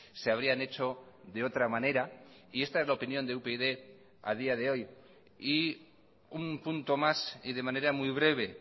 se habrían hecho de otra manera y esta es la opinión de upyd a día de hoy y un punto más y de manera muy breve